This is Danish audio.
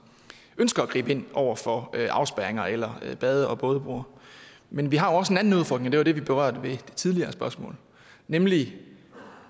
ønsker at gribe ind over for afspærringer eller bade og bådebroer men vi har også en anden udfordring og det var det vi berørte i et tidligere spørgsmål nemlig